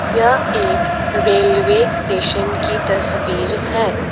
यह एक railway station की तस्वीर है।